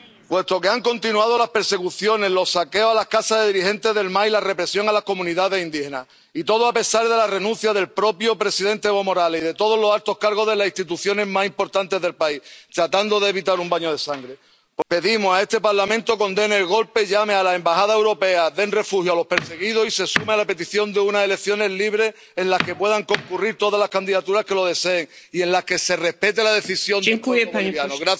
Puesto que han continuado las persecuciones, los saqueos a las casas de dirigentes del MAS y la represión a las comunidades indígenas, y todo a pesar de la renuncia del propio presidente Evo Morales y de todos los altos cargos de las instituciones más importantes del país, tratando de evitar un baño de sangre, pedimos a este Parlamento que condene el golpe, llame a las Embajadas europeas a que den refugio a los perseguidos y se sume a la petición de unas elecciones libres en las que puedan concurrir todas las candidaturas que lo deseen y en las que se respete la decisión del pueblo boliviano.